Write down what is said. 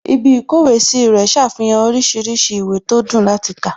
Ibí ìkówèé sí rẹ̀ ṣàfihàn oríṣiríṣi ìwé tó dùn láti kà